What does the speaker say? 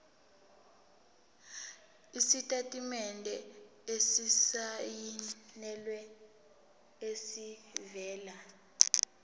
isitatimende esisayinelwe esivela